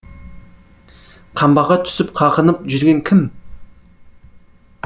қамбаға түсіп қағынып жүрген кім